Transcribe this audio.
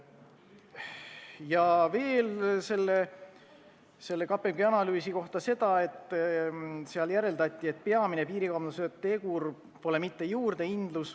Ja selle KPMG analüüsi kohta veel seda, et seal järeldati, et peamine tegur piirikaubanduse lõpetamise seisukohalt pole mitte juurdehindlus.